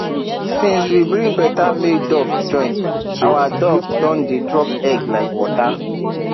since we bring better male duck join our duck don dey drop egg like water